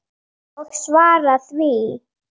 Og svara því.